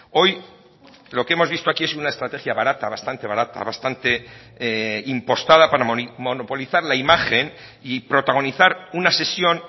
hoy lo que hemos visto aquí es una estrategia barata bastante barata bastante impostada para monopolizar la imagen y protagonizar una sesión